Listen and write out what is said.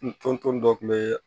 N ton ton dɔ kun be